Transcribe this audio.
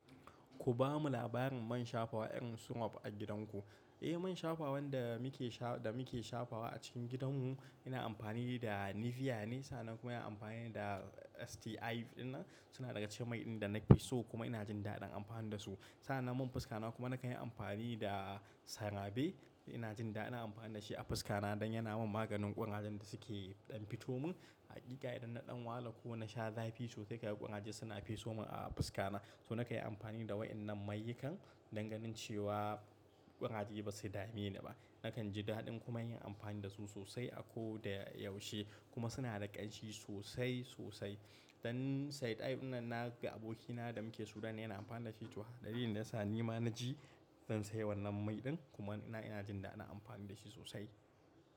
Ku bamu labarin man shafawa irin su map a gidanku. Eh, man shafawan da muke sha-- da muke shafawa a cikin gidanmu ina amfani da Nivea ne. Sa'nan kuma ina amfani da STI. Gif din nan, suna daga cikin mai din da na fi so kuma ina jin daɗin amfani da su. Sa'nan man fuska na kuma nakan yi amfani da Cerave, ina jin daɗin amfani da shi a fuska na don yana min maganin ƙurajen da suke ɗan fito min. Hakika idan na ɗan wahala ko na sha zafi sosai, kaga ƙuraje suna feso min a fuska na. So nakan yi amfani da waɗannan mayukan danganin cewa ƙuraje ba su dame ni ba. Nakan ji daɗin kuma yin amfani da su sosai a ko da ya yaushe kuma suna da ƙanshi sosai, sosai. Dan St. Ive ɗin nan na ga abokina da muke Sudan yana amfani da shi tuha ɗari, don ya sa ni ma na ji zan sayi wannan mai ɗin kuma ina, ina jin daɗin amfani da shi sosai.